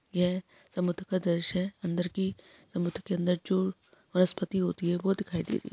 ये समुद्र का द्रश्य है अंदर की समुद्र के अंदर की जो वनस्पति होती है वो दिखाई दे रही है।